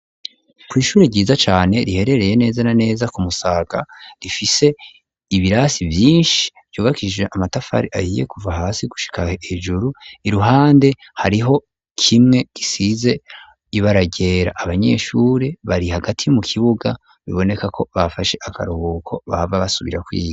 Kw'ishuri ryiza cane riherereye neza na neza ku Musaga, rifise ibirasi vyinshi vyubakishije amatafari ahiye kuva hasi gushika hejuru ,iruhande hariho kimwe gisize ibara ryera ,abanyeshuri bari hagati mu kibuga biboneka ko bafashe akaruhuko bahava basubira kwiga.